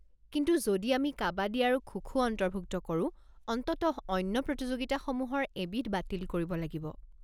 কিন্তু যদি আমি কাবাদী আৰু খো-খো অন্তৰ্ভুক্ত কৰো, অন্ততঃ অন্য প্ৰতিযোগিতাসমূহৰ এবিধ বাতিল কৰিব লাগিব।